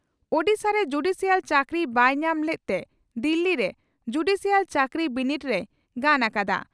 ᱳᱰᱤᱥᱟᱨᱮ judicial ᱪᱟᱹᱠᱨᱤ ᱵᱟᱭ ᱧᱟᱢ ᱞᱮᱫᱛᱮ ᱫᱤᱞᱤ ᱨᱮ ᱡᱩᱰᱤᱥᱤᱭᱟᱞ ᱪᱟᱹᱠᱨᱤ ᱵᱤᱱᱤᱰ ᱨᱮᱭ ᱜᱟᱱ ᱟᱠᱟᱫᱼᱟ ᱾